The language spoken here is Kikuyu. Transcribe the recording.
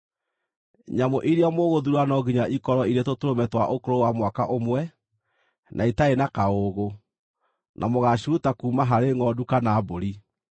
Nyamũ iria mũgũthuura no nginya ikorwo irĩ tũtũrũme twa ũkũrũ wa mwaka ũmwe, na itarĩ na kaũũgũ, na mũgaaciruta kuuma harĩ ngʼondu kana mbũri.